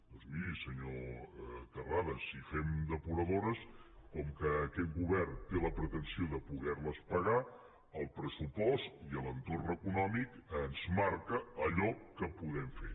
doncs miri senyor terrades si fem depuradores com que aquest govern té la pretensió de poder les pagar el pressupost i l’entorn econòmic ens marquen allò que podem fer